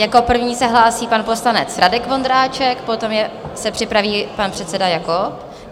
Jako první se hlásí pan poslanec Radek Vondráček, potom se připraví pan předseda Jakob.